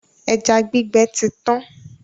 Ẹja gbígbẹ ti tán.